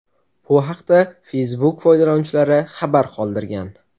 Bu haqda Facebook foydalanuvchilari xabar qoldirgan.